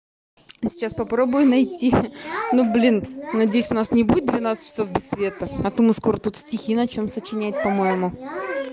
сейчас попробую найти ну блин надеюсь у нас не будет двенадцать часов без света а то мы скоро тут стихи начнём сочиняет по-моему